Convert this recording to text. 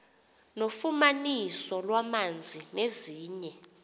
nofumaniso lwamanzi nezinye